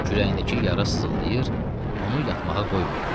Kürəyindəki yara sızıldayır, onu yatmağa qoymurdu.